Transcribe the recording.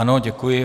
Ano, děkuji.